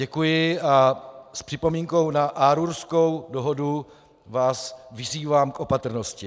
Děkuji a s připomínkou na Aarhuskou dohodu vás vyzývám k opatrnosti.